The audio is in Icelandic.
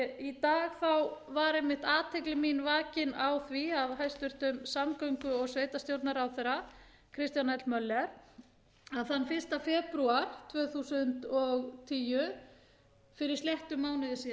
í dag var einmitt athygli mín vakin á því af hæstvirtum samgöngu og sveitarstjórnarráðherra kristjáni l möller að þann fyrsta febrúar tvö þúsund og tíu fyrir sléttum mánuði síðan hefði einmitt